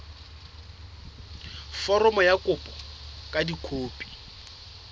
foromo ya kopo ka dikopi